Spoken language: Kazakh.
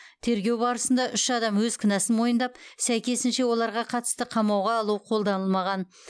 тергеу барысында үш адам өз кінәсін мойындап сәйкесінше оларға қатысты қамауға алу қолданылмаған